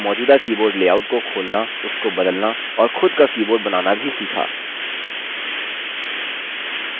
हमने एक मौजूदा keyboard लेआउट को खोलना उसको बदलना और खुद का keyboard बनाना भी सीखा